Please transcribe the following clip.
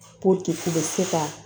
k'u bɛ se ka